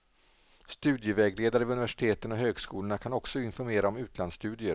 Studievägledare vid universiteten och högskolorna kan också informera om utlandsstudier.